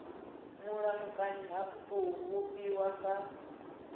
mulamukanyi ha tou vhofhiwa nga